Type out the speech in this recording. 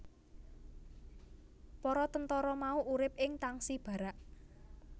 Para tentara mau urip ing tangsi barak